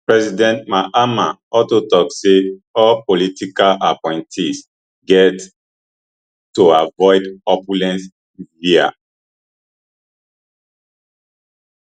president mahama alto tok say all political appointees get to avoid opulence wia